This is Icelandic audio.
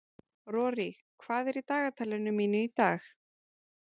Rorí, hvað er í dagatalinu mínu í dag?